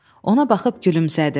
Ona baxıb gülümsədim.